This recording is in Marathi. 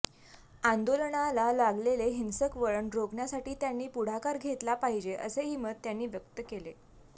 आंदोलनाला लागलेले हिंसक वळण रोखण्यासाठी त्यांनी पुढाकार घेतला पाहिजे असेही मत त्यांनी व्यक्त केले